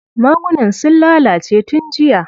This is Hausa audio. Magunan sun lalace tun jiya.